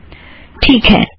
ठीक है